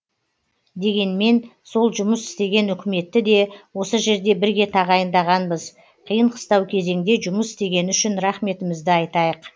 дегенмен сол жұмыс істеген үкіметті де осы жерде бірге тағайындағанбыз қиын қыстау кезеңде жұмыс істегені үшін рахметімізді айтайық